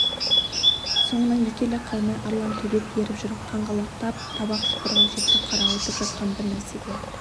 соңынан екі елі қалмай арлан төбет еріп жүр қаңғалақтап табақ шұқырға жетті қарауытып жатқан бір нәрсеге